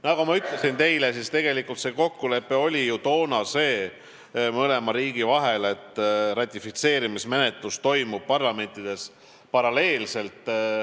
Nagu ma ütlesin, see kokkulepe kahe riigi vahel oli toona ju see, et ratifitseerimismenetlus toimub parlamentides paralleelselt.